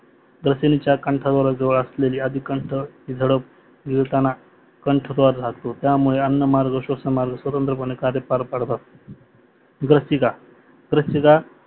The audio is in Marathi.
ग्रसिणीच्या कंठाजवळ असलेली आदिकंठ झडप गिळताना कंठद्वार राहतो, त्या मुळे अन्न मार्ग स्वसंनमार्ग स्वातंत्रपाने कार्य पार पाडत असतात. ग्रसिका ग्रसिका